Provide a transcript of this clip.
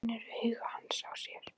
Hún finnur augu hans á sér.